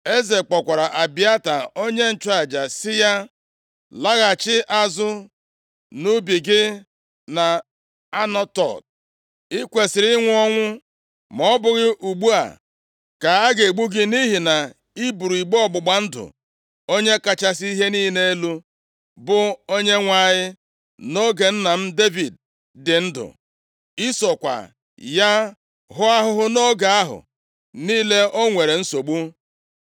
Eze kpọkwara Abịata onye nchụaja sị ya, “Laghachi azụ nʼubi gị nʼAnatot. + 2:26 Anatot, bụ otu nʼime obodo nke ebo Benjamin nyere ndị nchụaja \+xt Jos 21:18; Jer 1:1\+xt* I kwesiri ịnwụ ọnwụ ma ọ bụghị ugbu a ka a ga-egbu gị nʼihi na i buru igbe ọgbụgba ndụ Onye kachasị ihe niile elu, bụ Onyenwe anyị nʼoge nna m Devid dị ndụ. I sokwa ya hụọ ahụhụ nʼoge ahụ niile o nwere nsogbu.”